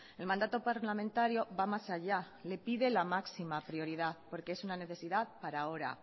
el mandato parlamentario va más allá le pide la máxima prioridad porque es una necesidad para ahora